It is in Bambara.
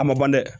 A ma ban dɛ